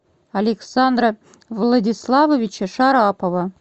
александра владиславовича шарапова